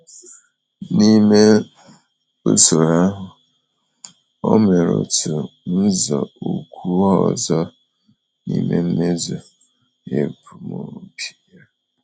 N’ime usoro ahụ, ọ mere otu nzọụkwụ ọzọ n’ime mmezu ebumnobi ya.